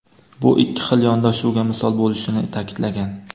bu ikki xil yondashuvga misol bo‘lishini ta’kidlagan.